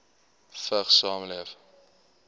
vigs saamleef